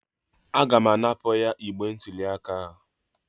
Aga m apụnara igbe ntụli aka